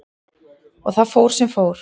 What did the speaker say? Og það fór sem fór.